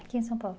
Aqui em São Paulo?